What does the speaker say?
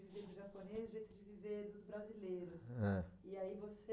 O jeito de viver japonês, o jeito de viver dos brasileiros. É. E aí você